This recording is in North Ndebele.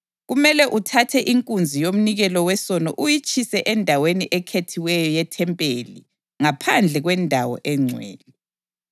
Kumele uthathe inkunzi yomnikelo wesono uyitshisele endaweni ekhethiweyo yethempeli ngaphandle kwendawo engcwele.